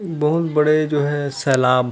बहुत बड़े जो है सैलाब--